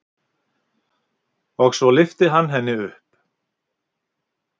Og svo lyfti hann henni upp.